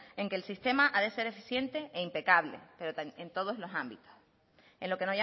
en que el sistema ha de ser eficiente e impecable pero en todos los ámbitos en lo que